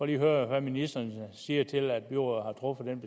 lige høre hvad ministeren siger til at byrådet har truffet den